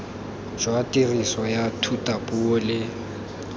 jwa tiriso ya thutapuo le